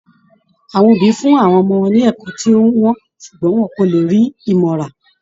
Àwọn òbí fún àwọn ọmọ ní ẹ̀kọ́ tí ó wọ́n ṣùgbọ́n wọn kò lè rí ìmọ̀ rà